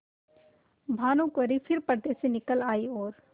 भानुकुँवरि फिर पर्दे से निकल आयी और